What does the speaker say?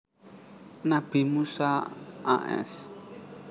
Nabi Musa a s